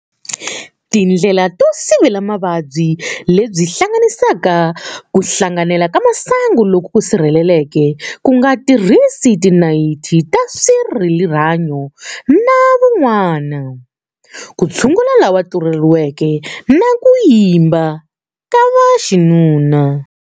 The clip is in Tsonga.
Tindlela to sivela mavabyi lebyi tihlanganisa kuhlanganela masangu loku sirhelelekeke, kunga tirhisi tinayithi ta swarihanyo na van'wana, kutshungula lava tluletiweke, na ku yimba ka vaxinuna.